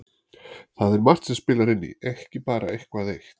Það er margt sem spilar inn í, ekki bara eitthvað eitt